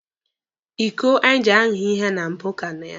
Iko anyị ji aha ihe na mbụ ka nọ ya.